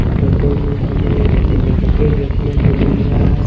Photo में हमें एक इंडस्ट्री देखने को मिल रहा है।